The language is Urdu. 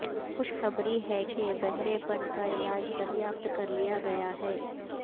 خوش خبری ہے کہ بہرے پن کا علاج دریافت کرلیا گیا ہے